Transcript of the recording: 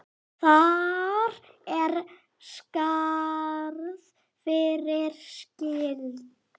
Þar er skarð fyrir skildi.